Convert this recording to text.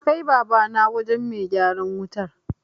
Na kai Babana wajen mai gyaran wutar.